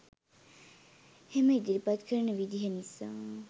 එම ඉදිරිපත් කරන විදිහ නිසා.